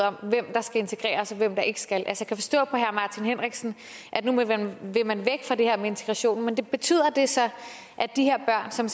om hvem der skal integreres og hvem der ikke skal jeg kan forstå på herre martin henriksen at nu vil man væk fra det her med integration men betyder det så at de her børn som